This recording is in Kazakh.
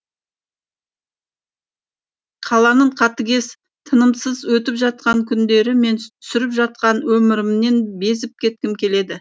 қаланың қатыгез тынымсыз өтіп жатқан күндері мен сүріп жатқан өмірімнен безіп кеткім келеді